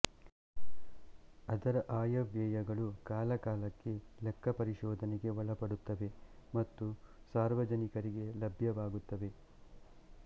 ಅದರ ಆಯವ್ಯಯಗಳು ಕಾಲಕಾಲಕ್ಕೆ ಲೆಕ್ಕಪರಿಶೋಧನೆಗೆ ಒಳಪಡುತ್ತವೆ ಮತ್ತು ಸಾರ್ವಜನಿಕರಿಗೆ ಲಭ್ಯವಾಗುತ್ತವೆ